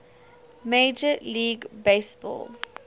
major league baseball